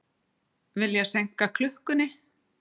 Vilja seinka klukkunni